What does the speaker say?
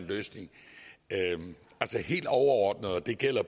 løsning helt overordnet og det gælder